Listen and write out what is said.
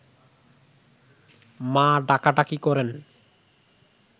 মা ডাকাডাকি করেন